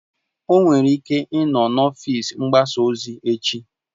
O nwere ike ịnọ na ọfịs mgbasa ozi echi